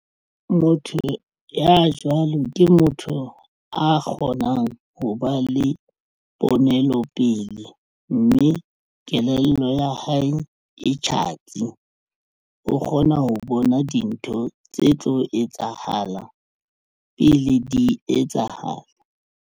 Motho ya jwalo ke motho a kgonang ho ba le ponelo pele mme kelello ya hae e tjhatsi o kgona ho bona dintho tse tlo etsahalang pele di etsahala.